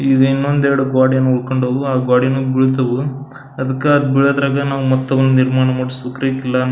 ಈಗ ಇನ್ನೊಂದ್ ಎರಡು ಗೋಡೆಯನ್ನ ಉಳ್ಕೊಂಡವು ಆ ಗೊಡಿನು ಬೀಳ್ತವು ಅದಕ್ಕ ಬೀಳೋದ್ರಾಗ ನಾವು ಮತ್ ಅವ್ನ ನಿರ್ಮಾಣ ಮಾಡಿಸ್ಬೇಕ್ರಿ ಕಿಲ್ಲನ --